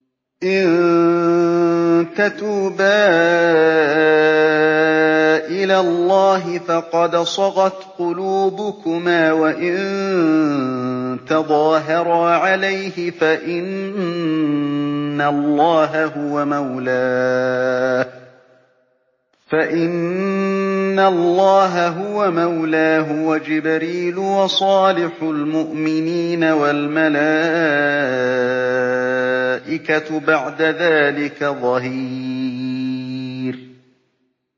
إِن تَتُوبَا إِلَى اللَّهِ فَقَدْ صَغَتْ قُلُوبُكُمَا ۖ وَإِن تَظَاهَرَا عَلَيْهِ فَإِنَّ اللَّهَ هُوَ مَوْلَاهُ وَجِبْرِيلُ وَصَالِحُ الْمُؤْمِنِينَ ۖ وَالْمَلَائِكَةُ بَعْدَ ذَٰلِكَ ظَهِيرٌ